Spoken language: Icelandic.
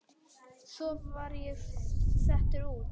Svo var ég settur út.